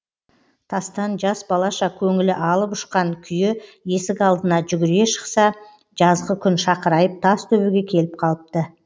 тастан жас балаша көңілі алып ұшқан күйі есік алдына жүгіре шықса жазғы күн шақырайып тас төбеге келіп қалыпты